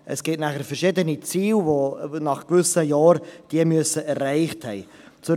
Andererseits gibt es dann verschiedene Ziele, welche diese nach gewissen Jahren erreicht haben müssen.